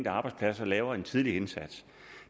arbejdsplads og laver en tidlig indsats